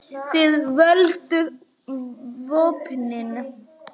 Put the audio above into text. Þið földuð vopnin.